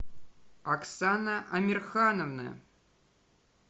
оксана амирхановна